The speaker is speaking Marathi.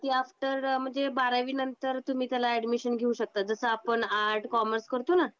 ती अफ्टर म्हणजे बारावी नंतर तुम्ही त्याला अॅडमिशन घेऊ शकतात. जसं आपण आर्ट, कॉमर्स करतो ना अच्छा त्याला बारावी कम्पलसरी असते.